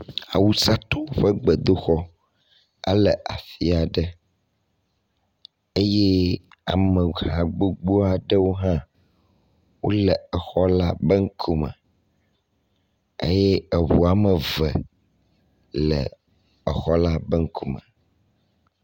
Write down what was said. Awusatɔwo ƒe gbedoxɔ ele afi aɖe eye ameha gbogbo aɖewo hã wo le exɔ la ŋku me eye eŋu ame eve le exɔ la be ŋkume.